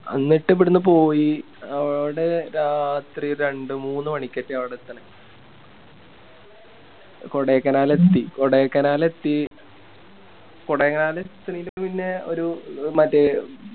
അന്നിട്ട് ഇവിടുന്ന് പോയി അവിടെ രാത്രി ഒരു രണ്ട് മൂന്ന് മണിക്കൊക്കെയാ അവിടെ എത്തണേ കൊടൈക്കനാലെത്തി കൊടേക്കനലെത്തി കൊടൈക്കനാലേത്തണെന് മുന്നേ ഒരു മറ്റേ